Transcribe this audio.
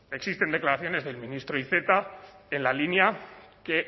existen declaraciones del ministro iceta en la línea que